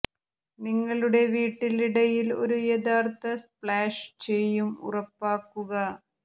നിങ്ങളുടെ വീട്ടിൽ ഇടയിൽ ഒരു യഥാർത്ഥ സ്പ്ലാഷ് ചെയ്യും ഉറപ്പാക്കുക